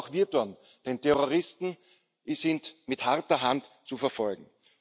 Das sollten auch wir tun, denn Terroristen sind mit harter Hand zu verfolgen.